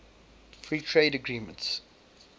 free trade agreements